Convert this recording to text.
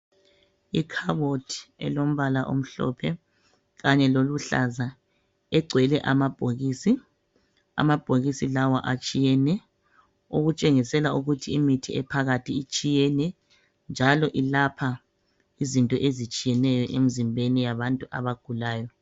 Ikhabothi elombala omhlophe kanye loluhlaza egcwele amabhokisi amabhokisi lawa atshiyene okutshengisela ukuthi imithi ephakathi itshiyene njalo ilapha izinto ezitshiyeneyo emzimbeni yabantu abagulayo.